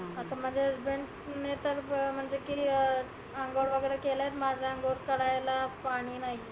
आता माझे husband मी तर म्हणजे की अंघोळ वगैरे केलय माझी अंघोळ करायला पाणि नाही.